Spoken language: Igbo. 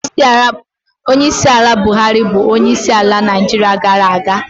Onyeisiala Buhari bụ onyeisiala Naịjirịa gara aga.